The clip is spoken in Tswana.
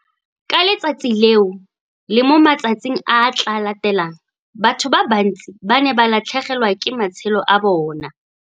Ka letsatsi leo le mo matsatsing a a tla latelang, batho ba bantsi ba ne ba latlhegelwa ke matshelo a bona.